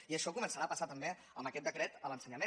i això començarà a passar també amb aquest decret a l’ensenyament